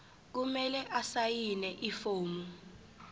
kumele asayine ifomu